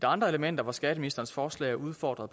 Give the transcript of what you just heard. andre elementer hvor skatteministerens forslag er udfordret